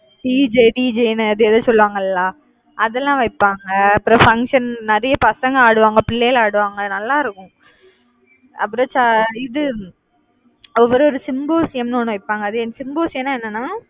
DJDJ ன்னு அது ஏதோ சொல்லுவாங்கல்ல அதெல்லாம் வைப்பாங்க. அப்புறம் function நிறைய பசங்க ஆடுவாங்க. பிள்ளைகள் ஆடுவாங்க நல்லா இருக்கும் அப்பறம் இது ஒரு symposium னு ஒண்ணு வைப்பாங்க. அது symposium னா என்னன்னா